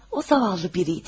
O, yazıq biri idi.